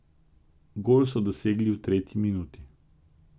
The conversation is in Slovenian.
Gol so dosegli v tretji minuti.